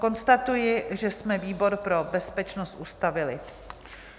Konstatuji, že jsme výbor pro bezpečnost ustavili.